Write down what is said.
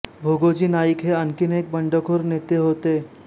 भोगोजी नाईक हे आणखी एक बंडखोर नेते होते